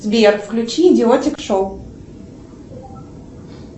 сбер включи идиотик шоу